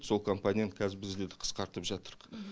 сол компанияны қазір біз де қысқартып жатырмыз